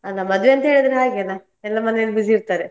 ಅದ ಮದುವೆ ಅಂತೆಳಿದ್ರೆ ಹಾಗೆ ಅಲ್ಲಾ ಎಲ್ಲ ಮನೆಯಲ್ಲಿ. busy ಇರ್ತಾರೆ.